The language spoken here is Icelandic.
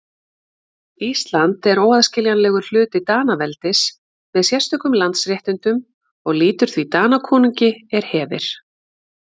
Ísland er óaðskiljanlegur hluti Danaveldis með sérstökum landsréttindum og lýtur því Danakonungi er hefir.